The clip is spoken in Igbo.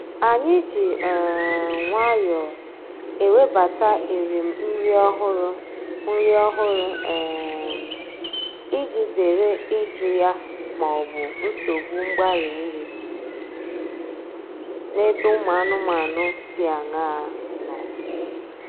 Anyị ji um nwayọọ ewebata erim nri ọhụrụ nri ọhụrụ um iji zere ịjụ ya maọbụ nsogbu mgbarị nri n’ebe ụmụ anụmanụ dị aṅaa nọ